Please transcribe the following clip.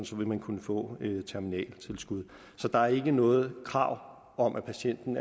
så vil man kunne få terminaltilskud så der er ikke noget krav om at patienten